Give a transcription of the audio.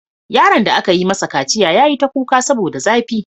Yaron da aka yi masa kaciya ya yi ta kuka saboda zafi.